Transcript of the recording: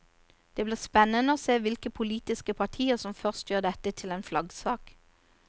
Det blir spennende å se hvilke politiske partier som først gjør dette til en flaggsak.